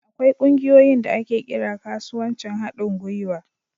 Akwai ƙungiyoyin da ake kira kasuwancin haɗin gwiwa.